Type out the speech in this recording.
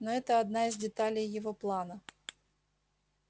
но это одна из деталей его плана